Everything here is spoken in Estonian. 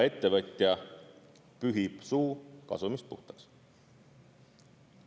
Ettevõtja pühib suu kasumist puhtaks.